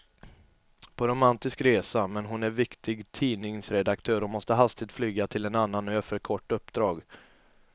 På romantisk resa, men hon är viktig tidningsredaktör och måste hastigt flyga till en annan ö för ett kort uppdrag.